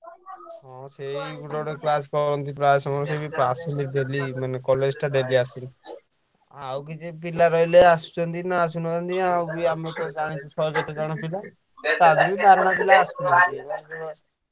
ହଁ ସେଇ ଗୋଟେ ଗୋଟେ class କରନ୍ତି ପ୍ରାୟ ସମୟ ସେ ବି ଆସନ୍ତି daily ମାନେ college ଟା daily ଆସନ୍ତି। ଆଉ କିଛି ପିଲା ରହିଲେ ଆସୁଛନ୍ତି ନା ଆସୁନାହାନ୍ତି ଆଉ ବି ଆମେ ତ ଜାଣିଛୁ ଶହେ କେତେ ଜଣ ପିଲା। ତା ଧିଅରୁ ବାରେଣା ପିଲା ଆସୁନାହାନ୍ତି ।